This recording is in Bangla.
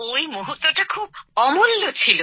ওই মূহুর্তটা খুব অমূল্য ছিল